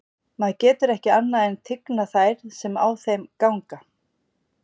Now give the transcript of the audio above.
Maður getur ekki annað en tignað þær sem á þeim ganga.